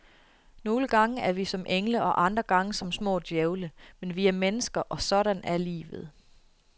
Nogle gange er vi som engle og andre gange som små djævle, men vi er mennesker, og sådan er livet.